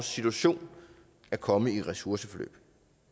situation at komme i et ressourceforløb